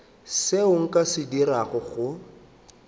seo nka se dirago go